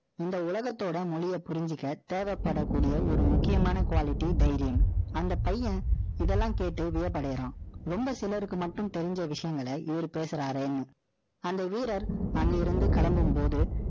இந்த உலகத்தோட மொழிய புரிஞ்சுக்க, தேவைப்படக்கூடிய ஒரு முக்கியமான quality தைரியம். அந்த பையன், இதெல்லாம் கேட்டு வியப்படையறான். ரொம்ப சிலருக்கு மட்டும் தெரிஞ்ச விஷயங்களை, இவரு பேசுறாருன்னு. அந்த வீரர், அங்கிருந்து கிளம்பும் போது